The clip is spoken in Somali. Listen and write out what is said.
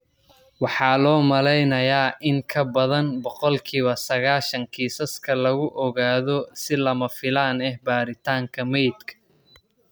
Waxaa loo maleynayaa in in ka badan boqolkiba sagashan kiisaska lagu ogaado si lama filaan ah baaritaanka meydka.